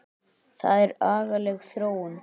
Það er agaleg þróun.